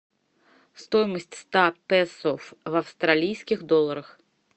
стоимость ста песо в австралийских долларах